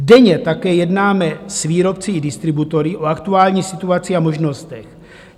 Denně také jednáme s výrobci i distributory o aktuální situaci a možnostech.